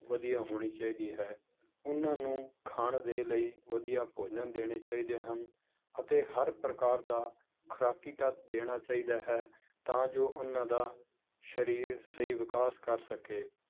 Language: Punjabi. ਵਧੀਆ ਹੋਣੀ ਚਾਹੀਦੀ ਹੈ, ਉਹਨਾਂ ਨੂੰ ਖਾਣ ਦੇ ਲਈ ਵਧੀਆ ਭੋਜਨ ਦੇਣੇ ਚਾਹੀਦੇ ਹਨ, ਅਤੇ ਹਰ ਪ੍ਰਕਾਰ ਦਾ ਖੁਰਾਕੀ ਤੱਤ ਦੇਣਾ ਚਾਹੀਦਾ ਹੈ ਤਾਂ ਜੋ ਉਹਨਾਂ ਦਾ ਸਰੀਰ ਸਹੀ ਵਿਕਾਸ ਕਰ ਸਕੇ